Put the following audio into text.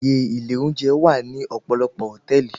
Àyè ilé oúnjẹ wà ní ọ̀pọ̀lọpọ̀ hòtẹ́ẹ̀lì.